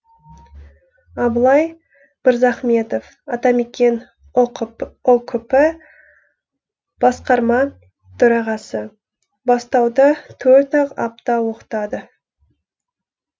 абылай мырзахметов атамекен ұкп басқарма төрағасы бастауда төрт ақ апта оқытады